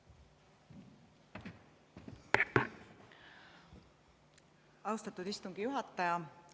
Austatud istungi juhataja!